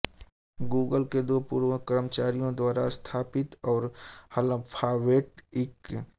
Google के दो पूर्व कर्मचारियों द्वारा स्थापित और अल्फाबेट इंक